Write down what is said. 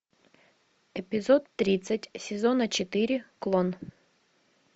эпизод тридцать сезона четыре клон